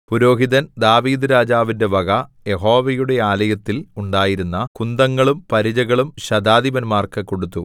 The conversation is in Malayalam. പുരോഹിതൻ ദാവീദ്‌ രാജാവിന്റെ വക യഹോവയുടെ ആലയത്തിൽ ഉണ്ടായിരുന്ന കുന്തങ്ങളും പരിചകളും ശതാധിപന്മാർക്ക് കൊടുത്തു